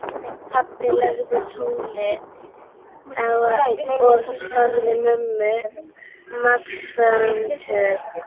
Pabbi lagði tólið á og sagði mömmu málavöxtu.